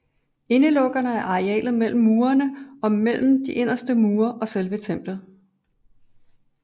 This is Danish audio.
Indeukkerne er arealet mellem murene og mellem de inderste mure og selve templet